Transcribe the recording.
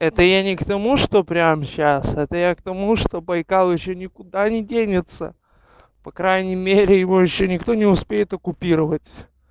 это я не к тому что прямо сейчас это я к тому что байкал ещё никуда не денется по крайней мере его ещё никто не успеет оккупировать